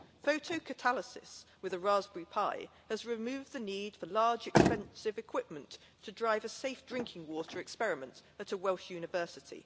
Photocatalysis with a Raspberry Pi has removed the need for large, expensive equipment to drive a safe drinking water experiment at a Welsh university.